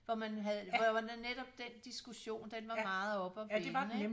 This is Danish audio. For man havde hvor det var netop den diskussion den var meget op at vende ikke